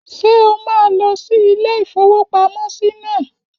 Ṣé o máa lọ sí ilé-ìfowópamọ́sí náà?